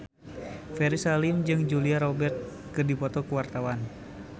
Ferry Salim jeung Julia Robert keur dipoto ku wartawan